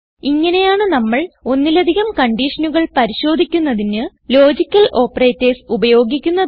ഇങ്ങനെയാണ് നമ്മൾ ഒന്നിലധികം കൺഡിഷനുകൾ പരിശോധിക്കുന്നതിന് ലോജിക്കൽ ഓപ്പറേറ്റർസ് ഉപയോഗിക്കുന്നത്